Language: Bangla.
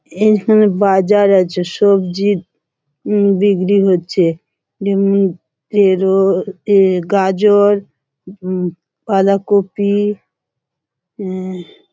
এখানে বাজার আছে সবজি উম বিক্রি হচ্ছে গাজর উঁ বাঁধাকপি উঁ --